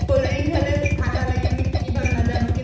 cold drink খালে ঠান্ডা লাগি মানে কি কি ভাবে নাজানো